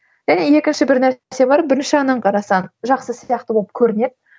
және екінші бір нәрсе бар бірінші жағынан қарасаң жақсы сияқты болып көрінеді